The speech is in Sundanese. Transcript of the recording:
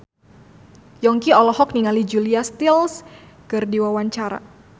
Yongki olohok ningali Julia Stiles keur diwawancara